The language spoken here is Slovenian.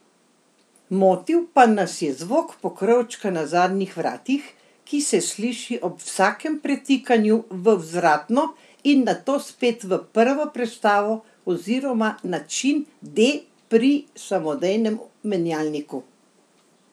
Motil pa nas je zvok pokrovčka na zadnjih vratih, ki se sliši ob vsakem pretikanju v vzvratno in nato spet v prvo prestavo oziroma način D pri samodejnem menjalniku.